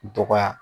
Dɔgɔya